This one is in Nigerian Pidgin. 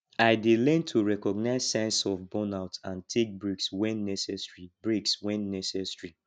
i dey learn to recognize signs of burnout and take breaks when necessary breaks when necessary